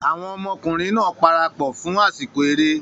Àwọn ọmọkùnrin náà parapọ̀ fún àsìkò eré